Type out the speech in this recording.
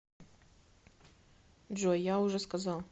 джой я уже сказал